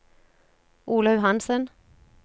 Olaug Hanssen